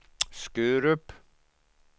Skurup